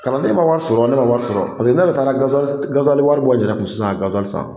Kalanden ma wari sɔrɔ ,ne ma wari sɔrɔ . Paseke ne yɛrɛ taa la wari bɔ n yɛrɛ kun sisan ka san.